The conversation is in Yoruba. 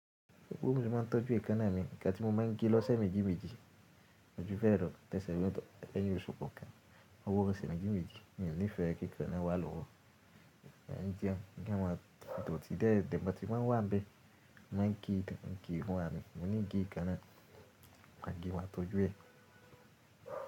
Ewú mi ma ń tọ́jú eka náà mi Kátí mó ma ń gé lọ́sẹ̀ méjì méjì, ọjọ́ fẹ́ẹ̀rẹ̀, tẹ́sẹ̀rẹ̀, tọ, ẹlẹ́yìn, oṣù kọ̀ọ̀kan. Owo osu wọn sì má ń gé méjì méjì. Mi oo nífẹ̀ẹ́ kí ìkan náà wà lọ́wọ́. Ní díẹ̀ ẹ́, kí wọn dòótì dé ẹ̀dẹ̀, bá ti wá ń wá be, ma ń gé ìkan náà, má gé wọn tọ́jú ẹ̀.